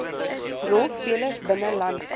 rolspelers binne landbou